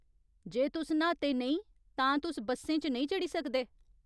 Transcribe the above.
जे तुस न्हाते नेईं तां तुस बस्सें च नेईं चढ़ी सकदे।